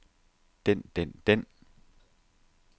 den den den